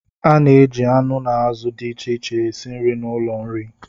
A na-eji anụ na azụ dị iche iche esi nri n'ụlọ nri.